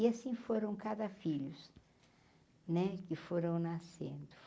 E assim foram cada filhos, né, que foram nascendo.